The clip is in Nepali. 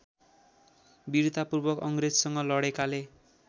विरतापूर्वक अङ्ग्रेजसँग लडेकाले